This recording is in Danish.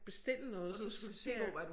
Bestille noget så skal jeg